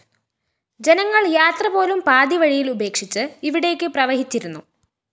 ജനങ്ങള്‍ യാത്രപോലും പാതിവഴിയില്‍ ഉപേക്ഷിച്ച് ഇവിടേക്ക് പ്രവഹിച്ചിരുന്നു